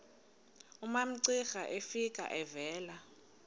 umamcira efika evela